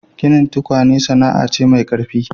Ginin tukwane sana'a ce mau ƙarfi.